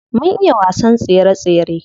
Mun iya wasan tsere tsere.